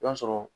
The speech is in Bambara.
I b'a sɔrɔ